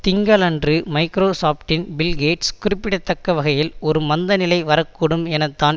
திங்களன்று மைக்ரோசாப்ட்டின் Bill Gates குறிப்பிடத்தக்க வகையில் ஒரு மந்த நிலை வரக்கூடும் என தான்